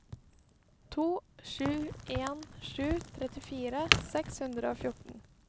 to sju en sju trettifire seks hundre og fjorten